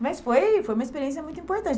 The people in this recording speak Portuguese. Mas foi foi uma experiência muito importante.